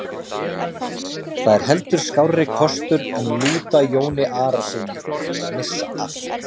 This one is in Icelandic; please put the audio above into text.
Það er heldur skárri kostur en lúta Jóni Arasyni og missa allt.